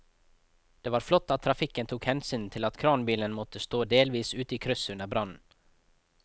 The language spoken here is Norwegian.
Det var flott at trafikken tok hensyn til at kranbilen måtte stå delvis ute i krysset under brannen.